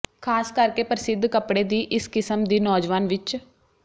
ਖ਼ਾਸ ਕਰਕੇ ਪ੍ਰਸਿੱਧ ਕੱਪੜੇ ਦੀ ਇਸ ਕਿਸਮ ਦੀ ਨੌਜਵਾਨ ਵਿੱਚ